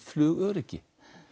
flugöryggi